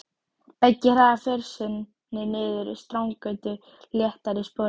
Beggi hraðar för sinni niður Strandgötuna léttari í spori.